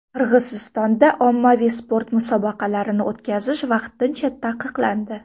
Qirg‘izistonda ommaviy sport musobaqalarini o‘tkazish vaqtincha taqiqlandi .